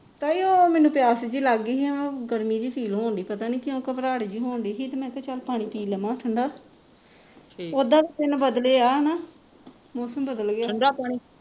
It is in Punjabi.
ਤਾਈ ਉਹ ਮੈਨੂੰ ਪਿਆਸ ਜਿਹੀ ਲੱਗ ਗਈ ਮੈਂ ਉਹ ਗਰਮੀ ਜਿਹੀ ਪਤਾ ਨਹੀਂ ਕਿਉਂ ਘਬਰਾਹਟ ਜਿਹੀ ਹੋਣ ਢਈ ਸੀ ਤੇ ਮੈਂ ਕਿਹਾ ਚੱਲ ਪਾਣੀ ਪੀ ਲਵਾਂ ਠੰਡਾ ਉੱਦਾ ਤਾਂ ਦਿਨ ਬਦਲੇ ਆ ਹਣਾ ਮੌਸਮ ਬਦਲ ਗਿਆ